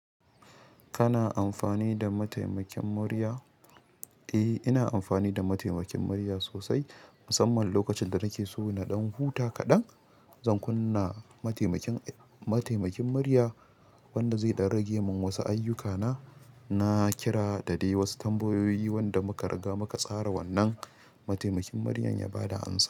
Kana amfani da mataimakin murya? Eh, ina amfani da mataimakin murya sosai, musamman lokacin da nake so na ɗan huta kaɗan. Zan kunna mataimakin, mataimakin murya wanda zai ɗan rage min wasu ayyukana. Na kira da dai wasu tambayoyi wanda muka riga muka tsara wannan mataimakin muryar ya ba da amsa.